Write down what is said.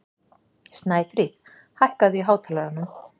Snæfríð, hækkaðu í hátalaranum.